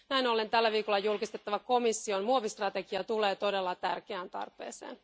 Näin ollen tällä viikolla julkistettava komission muovistrategia tulee todella tärkeään tarpeeseen.